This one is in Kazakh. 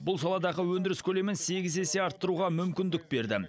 бұл саладағы өндіріс көлемін сегіз есе арттыруға мүмкіндік берді